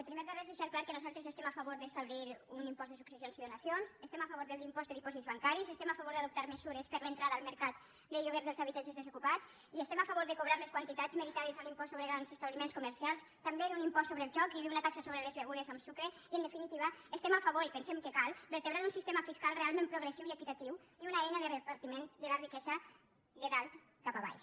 primer de res deixar clar que nosaltres estem a favor d’establir un impost de successions i donacions estem a favor de l’impost de dipòsits bancaris estem a favor d’adoptar mesures per a l’entrada al mercat de lloguer dels habitatges desocupats i estem a favor de cobrar les quantitats meritades a l’impost sobre grans establiments comercials també d’un impost sobre el joc i d’una taxa sobre les begudes amb sucre i en definitiva estem a favor i pensem que cal vertebrar un sistema fiscal realment progressiu i equitatiu i una eina de repartiment de la riquesa de dalt cap a baix